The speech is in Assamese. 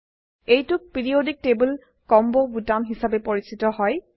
এইটোক পিৰিয়ডিক টেবল কম্বো বোতাম হিসাবে পৰিচিত হয়